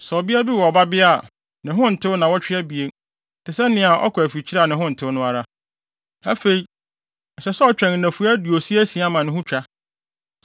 Sɛ ɔbea bi wo ɔbabea a, ne ho ntew nnaawɔtwe abien, te sɛ nea ɔkɔ afikyiri a ne ho ntew no ara. Afei ɛsɛ sɛ ɔtwɛn nnafua aduosia asia ma ne ho twa.